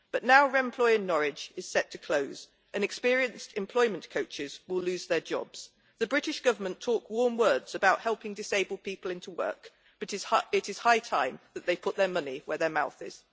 But now Remploy in Norwich is set to close, and experienced employment coaches will lose their jobs. The British Government talks warm words about helping disabled people into work, but is high time that they put their money where their mouth is.